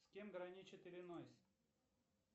с кем граничит иллинойс